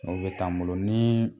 O bɛ taa an bolo ni